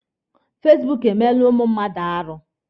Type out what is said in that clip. Fasibuuku emeela ụmụ mmadụ arụ.